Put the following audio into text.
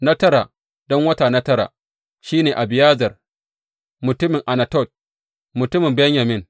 Na tara, don wata na tara, shi ne Abiyezer mutumin Anatot, mutumin Benyamin.